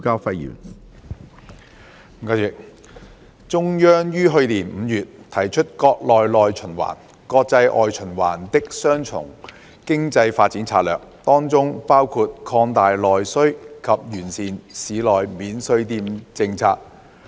主席，中央於去年5月提出國內內循環、國際外循環的"雙循環"經濟發展策略，當中包括擴大內需及完善市內免稅店政策。